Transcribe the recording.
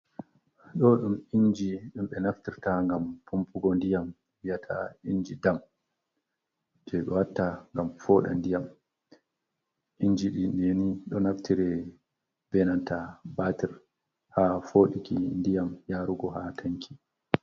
Ɗo ɗum inji ɗum ɓe naftirta ngam pampugo ndiyam biyata inji dam. Je ɓe watta ngam fooɗa ndiyam. Inji ɗi ɗi ni ɗo naftire be nanta batir ha foɗiki ndiyam yarugo ha tanki.